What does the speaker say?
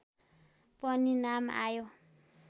पनि नाम आयो